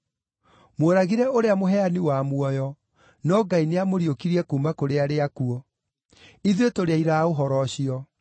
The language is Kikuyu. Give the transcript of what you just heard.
Mworagire ũrĩa mũheani wa muoyo, no Ngai nĩamũriũkirie kuuma kũrĩ arĩa akuũ. Ithuĩ tũrĩ aira a ũhoro ũcio.